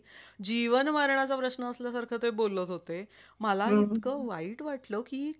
कामासाठी मी भटकले बोहोत बहोत भटकले मला काही सापडलाच नही